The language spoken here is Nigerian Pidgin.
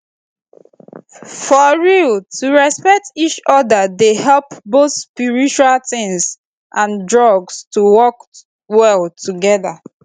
for real to respect each oda dey help both spiritual tins and drugs to work well together